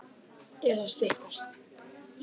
Er að styttast?